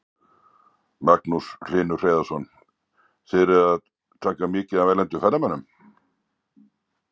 Magnús Hlynur Hreiðarsson: Þið erum að taka mikið af erlendum ferðamönnum?